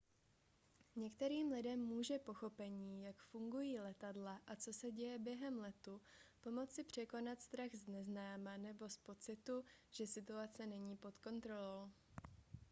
některým lidem může pochopení jak fungují letadla a co se děje během letu pomoci překonat strach z neznáma nebo z pocitu že situace není pod kontrolou